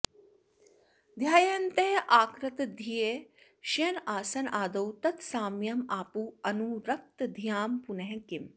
ध्यायन्तः आकृतधियः शयनआसनआदौ तत् साम्यम् आपुः अनुरक्तधियां पुनः किम्